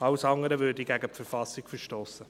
Alles andere würde gegen die Verfassung verstossen.